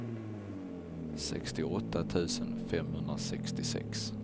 sextioåtta tusen femhundrasextiosex